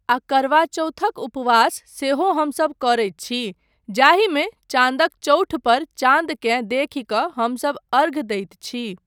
आ करवाचौथक उपवास सेहो हमसब करैत छी जाहिमे चाँदक चौठपर चाँदकेँ देखि कऽ हमसब अर्घ दैत छी।